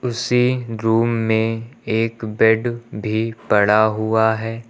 उसी रूम में एक बेड भी पड़ा हुआ है।